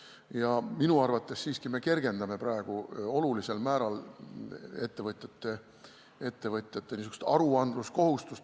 Ja minu arvates siiski me kergendame olulisel määral ettevõtjate aruandmiskohustust.